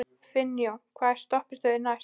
Finnjón, hvaða stoppistöð er næst mér?